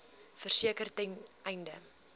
verseker ten einde